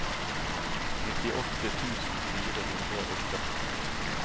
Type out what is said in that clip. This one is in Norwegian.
nittiåtte tusen fire hundre og førti